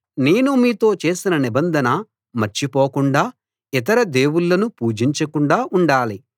నేను మీతో చేసిన నిబంధన మర్చిపోకుండా ఇతర దేవుళ్ళను పూజించకుండా ఉండాలి